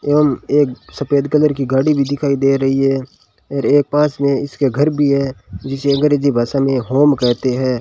एवं एक सफेद कलर की गाड़ी भी दिखाई दे रही है और एक पास में इसके घर भी है जिसे अंग्रेजी भाषा में होम कहते हैं।